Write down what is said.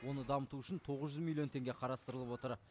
оны дамыту үшін тоғыз жүз миллион теңге қарастырылып отыр